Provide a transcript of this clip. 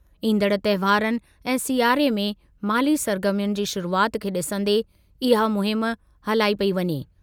ईंदड़ तहिंवारनि ऐं सियारे में ऐं माली सरगर्मियुनि जी शुरूआति खे ॾिसंदे इहा मुहिमु हलाई पेई वञे।